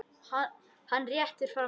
Hann réttir fram hönd.